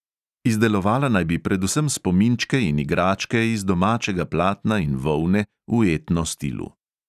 Izdelovala naj bi predvsem spominčke in igračke iz domačega platna in volne v etno stilu.